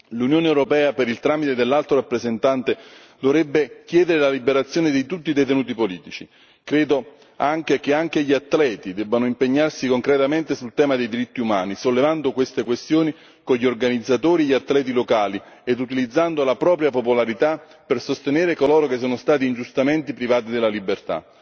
L'Unione europea, per il tramite dell'Alto rappresentante, dovrebbe chiedere la liberazione di tutti i detenuti politici. Credo che anche gli atleti debbano impegnarsi concretamente sul tema dei diritti umani, sollevando queste questioni con gli organizzatori e gli atleti locali ed utilizzando la propria popolarità per sostenere coloro che sono stati ingiustamente privati della libertà.